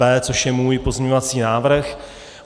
B, což je můj pozměňovací návrh.